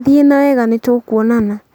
thiĩi nawega nĩtũkwonana